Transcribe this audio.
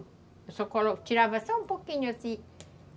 Eu só tirava só um pouquinho, assim.